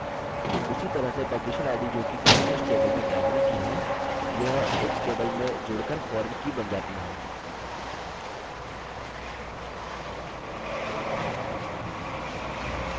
उसी तरह से publisher id जोकि publishers table में primary की है यह books table में जोड़कर foreign की बन जाती है